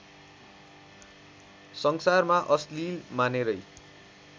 संसारमा अश्लील मानेरै